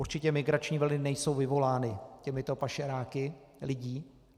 Určitě migrační vlny nejsou vyvolány těmito pašeráky lidí.